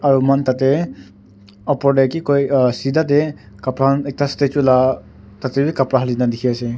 aro moikhan tate opor te ki koi uh sidha te kapara khan ekta statue la tate bi kapara hali na dikhi ase.